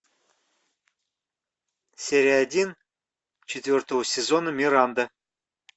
серия один четвертого сезона миранда